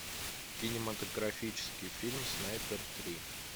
кинематографический фильм снайпер три